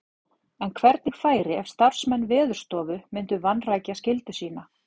En hvernig færi ef starfsmenn Veðurstofu myndu vanrækja skyldu sína?